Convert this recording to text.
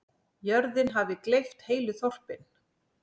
Jörðin hafi gleypt heilu þorpin.